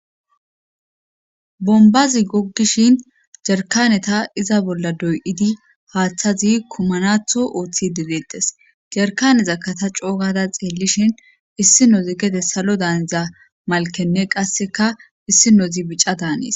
Bombazi goggishin jarkaneta iza bolla doy'idi haaththazi komanatho ooththi deleetes jarkaneza kata coogada xeellishin issinozi gede salo daaneza malkenne qasseka issinozi bica daanes.